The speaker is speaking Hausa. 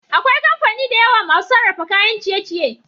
akwai kamfani dayawa masu sarrafa kayan ciye ciye